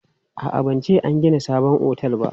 A'a, ban ce an gina sabon otel ba.